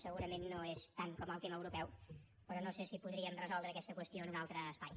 segurament ho és tant com el tema europeu però no sé si podríem resoldre aquesta qüestió en un altre espai